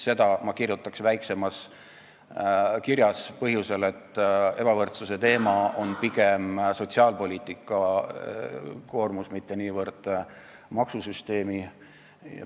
Selle ma kirjutaks väiksemas kirjas, põhjusel, et ebavõrdsuse teema on pigem sotsiaalpoliitika, mitte niivõrd maksusüsteemi koormus.